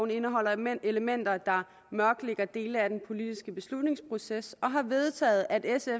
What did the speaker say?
indeholder elementer der mørklægger dele af den politiske beslutningsproces og har vedtaget at sf